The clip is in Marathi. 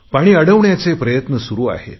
पाणी अडवण्याचे प्रयत्न सुरु आहेत